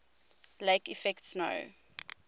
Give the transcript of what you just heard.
lake effect snow